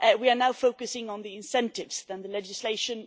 We are now focusing more on the incentives than on the legislation.